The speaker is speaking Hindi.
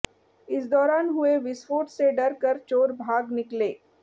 इस दौरान हुए विस्फोट से डरकर चोर भाग निकले